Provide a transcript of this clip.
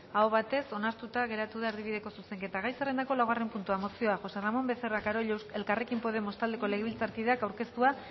aho batez onartuta geratu da erdibideko zuzenketa gai zerrendako laugarren puntua mozioa josé ramón becerra carollo elkarrekin podemos taldeko legebiltzarkideak aurkeztua